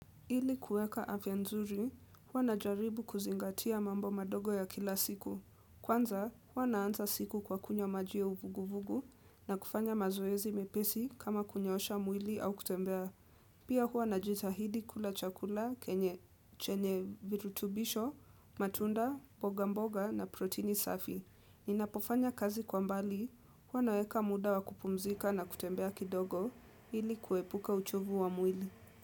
Ili kuweka afya nzuri, huwa najaribu kuzingatia mambo madogo ya kila siku. Kwanza, huwa naanza siku kwa kunywa maji ya uvuguvugu na kufanya mazoezi mepesi kama kunyoosha mwili au kutembea. Pia huwa najitahidi kula chakula, kenye chenye virutubisho, matunda, mboga mboga na protini safi. Ninapofanya kazi kwa mbali, huwa naweka muda wa kupumzika na kutembea kidogo ili kuepuka uchovu wa mwili.